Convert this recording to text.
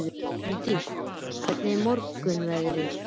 Hraundís, hvernig er veðrið á morgun?